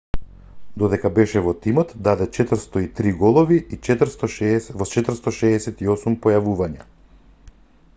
додека беше во тимот даде 403 голови во 468 појавувања